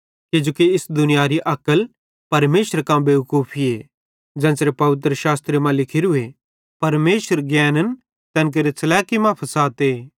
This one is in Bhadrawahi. किजोकि इस दुनियारी अक्ल परमेशरे कां बेवकूफीए ज़ेन्च़रे पवित्रशास्त्रे मां लिखोरूए परमेशर ज्ञैन्न तैन केरे च़लैकी मां फसाते